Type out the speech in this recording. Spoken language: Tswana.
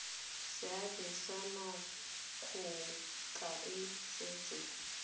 seabe sa makgotla a setso